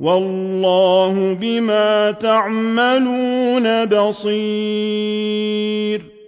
وَاللَّهُ بِمَا تَعْمَلُونَ بَصِيرٌ